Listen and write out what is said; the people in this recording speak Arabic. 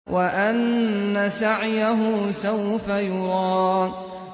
وَأَنَّ سَعْيَهُ سَوْفَ يُرَىٰ